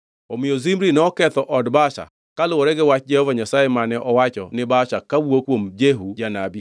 Omiyo Zimri noketho od Baasha, kaluwore gi wach Jehova Nyasaye mane owacho ni Baasha kawuok kuom Jehu janabi